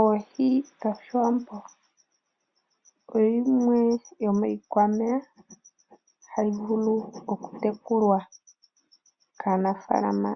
Oohi dhoshiwambo oyo yimwe yomiikwameya hayi vulu oku tekulwa kaanafaalama.